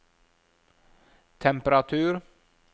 temperatur